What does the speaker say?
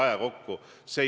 Aitäh!